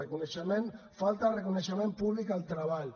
reconeixement falta reconeixement públic al treball